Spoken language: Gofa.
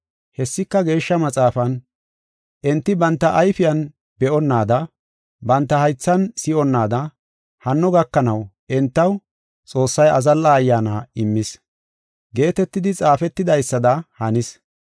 Hessika, Geeshsha Maxaafan, “Enti banta ayfiyan be7onnaada banta haythan si7onnaada, hanno gakanaw entaw Xoossay azalla ayyaana immis” geetetidi xaafetidaysada hanis.